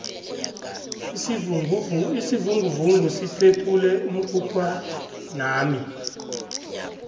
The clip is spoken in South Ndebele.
isivinguvungu siphephule umkhukhwanami